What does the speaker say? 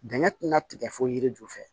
Dingɛ ti na tigɛ fo yiri ju fɛ